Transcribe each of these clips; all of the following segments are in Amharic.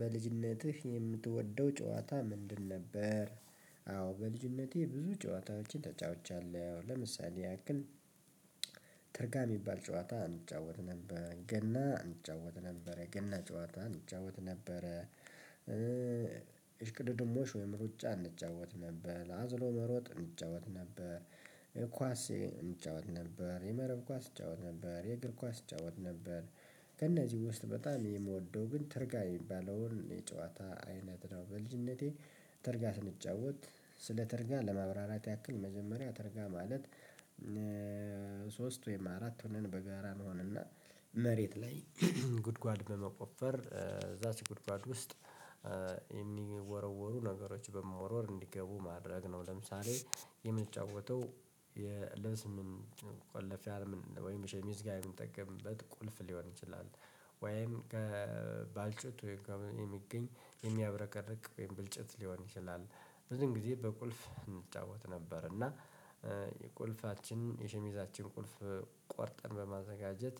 በልጅነትህ የምትወደው ጨዋታ ምንድን ነበር? አዎ በልጅነቴ ብዙ ጨዋታዎችን ተጫውቻለሁ ለምሳሌ ያክል። ትርጋር የሚባል ጨዋታ እንጫወት ነበር ገና እንጫወት ነበረ የገና ጨዋታ እንጫወት ነበረ። እሽቅድድሞሽ ወይም ሩጫ እንጫወት ነበር አዝሎ መሮጥ እንጫወት ነበር። ኳስ እንጫወት ነበር የመረብ ኳስ እጫወት ነበር የእግር ኳስ እጫወት ነበር። ከእነዚህ ውስጥ በጣም የምወደው ግን ትርጋይ የሚባለውን የጨዋታ አይነት ነው በልጅነቴ። ተርጋ ስንጫወት ስለ ተርጋ ለማብራራት ያክል መጀመሪያ ተርጋ ማለት። ሶስት ወይም አራት ሆነን በጋራ እንሆንና መሬት ላይ ጉድጓድ በመቆፈር እዛች ጉድጓድ ውስጥ የሚወረወሩ ነገሮች በመወርወር እንዲገቡ ማድረግ ነው። ለምሳሌ የምንጫወተው የልብስ መቆለፊያ ወይም ሸሚዝ ጋር የምንጠቀምበት ቁልፍ ሊሆን ይችላል። ወይም ከባልጩት የሚገኝ የሚያብረቀርቅ ወይም ባልጬት ሊሆን ይችላል ብዙን ጊዜ በቁልፍ እንጫወት ነበር። እና የቁልፋችን የሸሚዛችን ቁልፍ ቆርጠን በማዘጋጀት።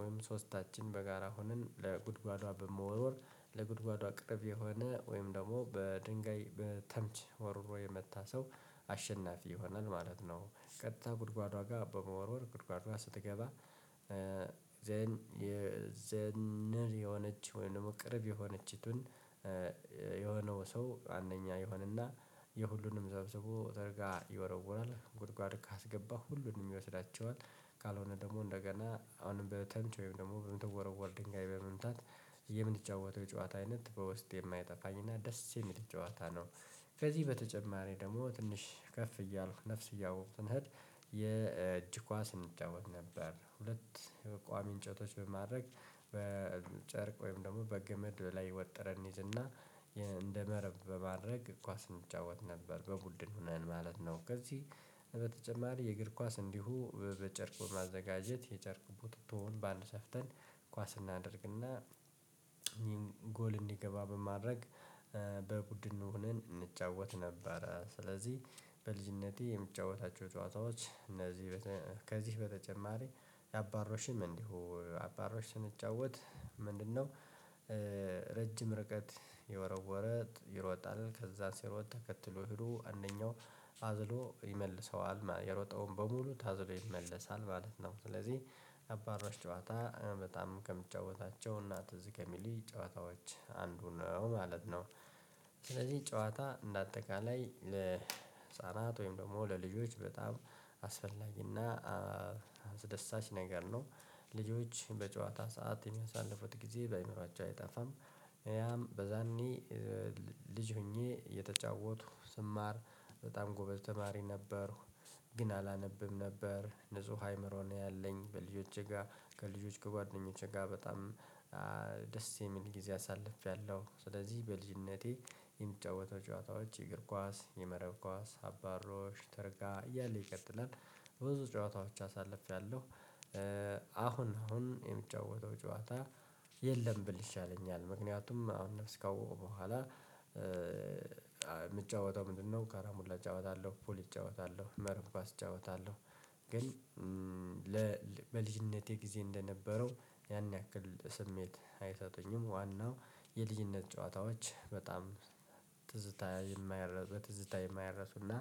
ወይም ሶስታችን በጋራ ሆነን ለጉድጓዷ በመወርወር ለጉድጓዷ ቅርብ የሆነ ወይም ደግሞ በድንጋይ በተምች ወርውሮ የመጣ ሰው አሸናፊ ይሆናል ማለት ነው። ቀጥታ ጉድጓዷ ጋር በመወርወር ጉድጓዷ ስትገባ ዘን የዘንር የሆነች ወይም ደግሞ ቅርብ የሆነችቱን። የሆነው ሰው አንደኛ ይሆንና የሁሉንም ሰብስቦ እዛው ጋር ይወረወራል ጉድጓድ ካስገባ ሁሉንም ይወስዳቸዋል። ካልሆነ ደግሞ እንደገና አሁንም በተምቼ ወይም ደግሞ በምትወረወር ድንጋይ በመምታት። የምንጫወተው የጨዋታ አይነት በውስጤ የማይጠፋኝ እና ደስ የሚል ጨዋታ ነው። ከዚህ በተጨማሪ ደግሞ ትንሽ ከፍ እያልኩ ነፍስ እያወቅኩ ስሄድ የእጅ ኳስ እንጫወት ነበር። ሁለት ቋሚ እንጨቶች በማድረግ በጨርቅ ወይም ደግሞ በገመድ ላይ ወጥረን እንይዝና እንደመረብ በማድረግ ኳስ እንጫወት ነበር በቡድን ሆነን ማለት ነው። ከዚህ በተጨማሪ የእግር ኳስ እንዲሁ በጨርቅ በማዘጋጀት የጨርቅ ቡቱቶውን በአንድ ሰፍተን ኳስ እናደርግና እኚህን ጎል እንዲገባ በማድረግ ሆነን እንጫወት ነበር። ስለዚህ በልጅነቴ የምጫወታቸው ጨዋታዎች እነዚህ ከዚ በተጨማሪ ያባሮሽም እንዲሁ አባሮሽን ስንጫወት ምንድነው? ረጅም ርቀት የወረወረ ይሮጣል ከዛ ሲሮጥ ተከትሎ ሄዶ አንደኛው አዝሎ ይመልሰዋል የሮጠውን በሙሉ ታዝሎ ይመለሳል ማለት ነው። ስለዚህ የአባሮሽ ጨዋታ በጣም ከምጫወታቸው እና ትዝ ከሚለኝ ጨዋታዎች አንዱ ነው ማለት ነው። ስለዚህ ጨዋታ እንደ አጠቃላይ ለህፃናት ወይም ደግሞ ለልጆች በጣም አስፈላጊና አስደሳች ነገር ነው። ልጆች በጨዋታ ሰዓት የሚያሳልፉት ጊዜ በአእምሮአቸው አይጠፋም። ያም በዛኔ ልጅ ሆኜ እየተጫወትኩ ስማር በጣም ጎበዝ ተማሪ ነበርኩ። ግን አላነብም ነበር ንጹህ አይምሮ ነው ያለኝ በልጆቼ ጋር ከልጆች ከጓደኞቼ ጋር በጣም ደስ የሚል ጊዜ አሳልፌያለሁ። ስለዚህ በልጅነቴ የምጫወተው ጨዋታዎች የእግር ኳስ የመረብ ኳስ አባሮሽ ተርጋ እያለ ይቀጥላል። ብዙ ጨዋታዎች አሳልፌያለሁ። አሁን አሁን የምጫወተው ጨዋታ የለም ብል ይሻለኛል ምክንያቱም አሁን ነፍስ ካወኩ በኋላ። የምጫወተው ምንድነው ካራቡላ እጫወታለሁ ፑል እጫወታለሁ መርብ ኳስ እጫወታለሁ። ግን በልጅነቴ ጊዜ እንደነበረው ያን ያክል ስሜት አይሰጡኝም ዋናው የልጅነት ጨዋታዎች በጣም ትዝታ የማይረሱ ትዝታ የማይረሱና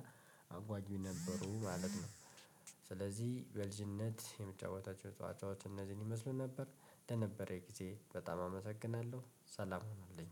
አጓጊ ነበሩ ማለት ነው። በልጅነት የምጫወታቸው ጨዋታዎች እነዚህን ይመስሉ ነበር። ለነበረን ጊዜ በጣም አመሰግናለሁ ሰላም ሆኑልኝ።